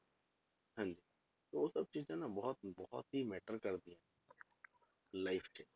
ਹਾਂਜੀ ਤੇ ਉਹ ਸਭ ਚੀਜ਼ਾਂ ਨਾ ਬਹੁਤ ਬਹੁਤ ਹੀ matter ਕਰਦੀਆਂ life 'ਚ